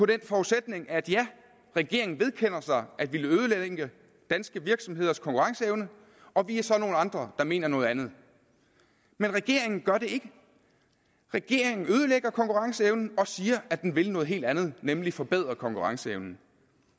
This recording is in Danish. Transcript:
den forudsætning at regeringen vedkender sig at ville ødelægge danske virksomheders konkurrenceevne og vi er så nogle andre der mener noget andet men regeringen gør det ikke regeringen ødelægger konkurrenceevnen og siger at den vil noget helt andet nemlig forbedre konkurrenceevnen